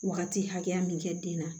Wagati hakɛya min kɛ den na